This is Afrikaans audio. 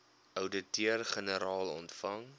ouditeur generaal ontvang